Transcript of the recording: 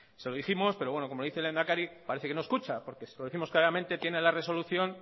se lo dijimos pero como dice el lehendakari parece que no escucha porque se lo dijimos claramente tiene la resolución